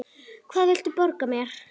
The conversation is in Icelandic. Hann vildi borga mér!